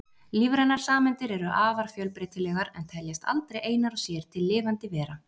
Lífrænar sameindir eru afar fjölbreytilegar en teljast aldrei einar og sér til lifandi vera.